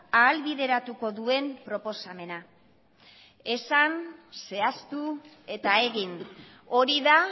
ahalbideratuko duen proposamena esan zehaztu eta egin hori da